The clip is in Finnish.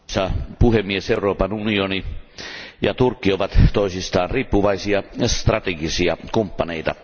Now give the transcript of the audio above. Arvoisa puhemies, Euroopan unioni ja Turkki ovat toisistaan riippuvaisia, strategisia kumppaneita.